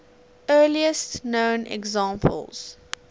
earliest known examples